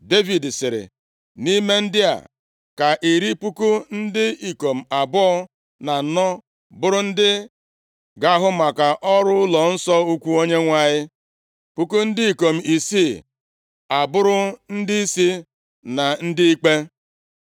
Devid sịrị, “Nʼime ndị a, ka iri puku ndị ikom abụọ na anọ bụrụ ndị ga-ahụ maka ọrụ ụlọnsọ ukwu Onyenwe anyị, puku ndị ikom isii a bụrụ ndịisi na ndị ikpe,